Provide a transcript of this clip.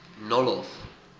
nolloth